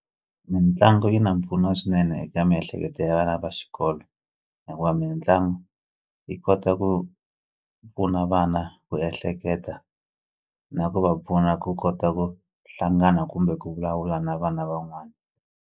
Mitlangu yi na mpfuno swinene eka miehleketo ya vana va xikolo hikuva mitlangu yi kota ku pfuna vana ku ehleketa na ku va pfuna ku kota ku hlangana kumbe ku vulavula na vana van'wana.